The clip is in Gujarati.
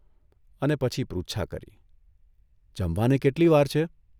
અને પછી પૃચ્છા કરીઃ ' જમવાને કેટલી વાર છે?